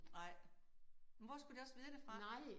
Nej men hvor skulle de også vide det fra?